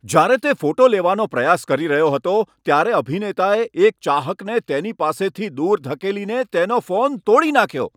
જ્યારે તે ફોટો લેવાનો પ્રયાસ કરી રહ્યો હતો ત્યારે અભિનેતાએ એક ચાહકને તેની પાસેથી દૂર ધકેલીને તેનો ફોન તોડી નાખ્યો.